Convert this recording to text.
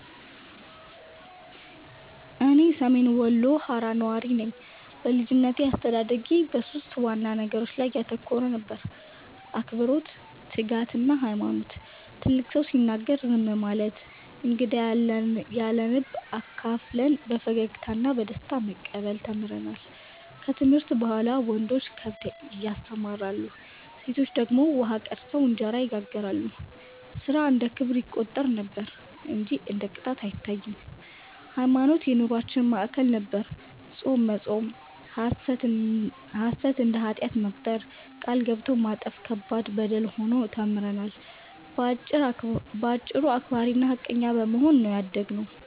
እኔ ሰሜን ወሎ ሃራ ነዋሪ ነኝ። በልጅነቴ አስተዳደጌ በሦስት ዋና ነገሮች ላይ ያተኮረ ነበር፤ አክብሮት፣ ትጋትና ሃይማኖት። ትልቅ ሰው ሲናገር ዝም ማለት፣ እንግዳን ያለንብ አካፍለን በፈገግታ እና በደስታ መቀበል ተምረናል። ከትምህርት በኋላ ወንዶች ከብት ያሰማራሉ፣ ሴቶች ደግሞ ውሃ ቀድተው እንጀራ ይጋግራሉ፤ ሥራ እንደ ክብር ይቆጠር ነበር እንጂ እንደ ቅጣት አይታይም። ሃይማኖትም የኑሮአችን ማዕከል ነበር፤ ጾም መጾም፣ ሐሰትን እንደ ኃጢአት መቁጠር፣ ቃል ገብቶ ማጠፍ ከባድ በደል ሆኖ ተምረናል። በአጭሩ አክባሪና ሃቀኛ በመሆን ነው ያደግነው።